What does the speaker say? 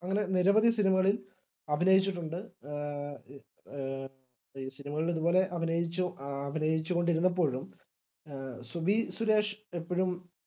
അങ്ങനെ നിരവധി സിനിമകളിൽ അഭിനയിച്ചിട്ടുണ്ട് ആ ആ ആഹ് സിനിമകളിൽ ഇതുപോലെ അഭിനയിച്ചു അഭിനയിച്ചുകൊണ്ടിരുന്നപ്പോഴും സുബി സുരേഷ് എപ്പഴും